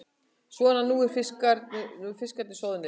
Svona, nú eru fiskarnir soðnir.